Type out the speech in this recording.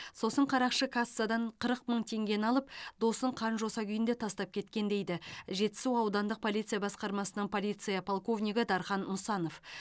сосын қарақшы кассадан қырық мың теңгені алып досын қан жоса күйінде тастап кеткен дейді жетісу аудандық полиция басқармасының полиция полковнигі дархан мұсанов